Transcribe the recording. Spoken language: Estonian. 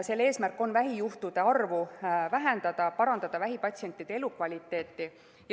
Selle eesmärk on vähijuhtude arvu vähendada ja parandada vähipatsientide elukvaliteeti.